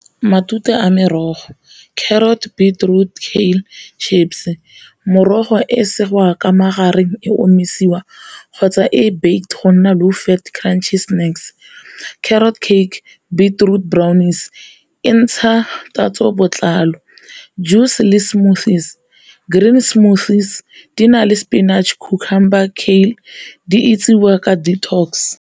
Matute a merogo carrot, beetroot, chips. Morogo e segiwa ka magareng e omisiwa kgotsa e baked go nna low fat crunchy snacks, carrot cake, beetroot brownies entsha tatso botlalo, juice le smoothies, green smoothies di na le spinach, cucumber di itsisiwa ka detox.